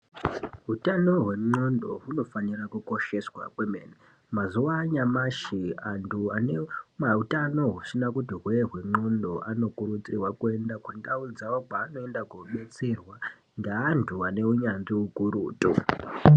Hutano hwendxoko hunofanira kukosheswa kwemene mazuwanyashi antu anemautano husina kuti hwee hwendxoko anokurudzirwa kuenda kundau dzawo dzavanoenda kodetserwa ngeantu ane unyanzvi ukurutu.